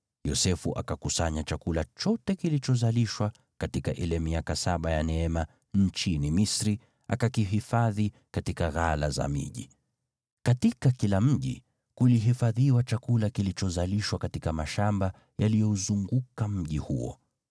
Yosefu akakusanya chakula chote kilichozalishwa katika ile miaka saba ya neema nchini Misri, akakihifadhi katika ghala za miji. Katika kila mji kulihifadhiwa chakula kilichozalishwa katika mashamba yaliyouzunguka mji huo.